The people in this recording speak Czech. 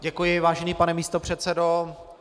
Děkuji, vážený pane místopředsedo.